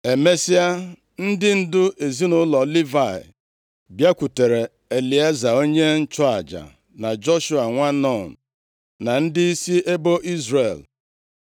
Emesịa, ndị ndu ezinaụlọ Livayị bịakwutere Elieza, onye nchụaja, na Joshua, nwa Nun, na ndịisi ebo Izrel,